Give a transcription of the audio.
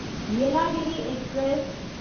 Yelagiri express